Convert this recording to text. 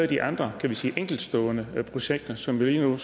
de andre kan vi sige enkeltstående projekter som vi jo